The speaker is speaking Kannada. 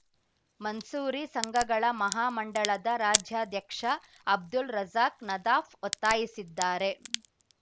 ಮನ್ಸೂರಿ ಸಂಘಗಳ ಮಹಾ ಮಂಡಳದ ರಾಜ್ಯಾಧ್ಯಕ್ಷ ಅಬ್ದುಲ್‌ ರಜಾಕ್‌ ನದಾಫ್‌ ಒತ್ತಾಯಿಸಿದ್ದಾರೆ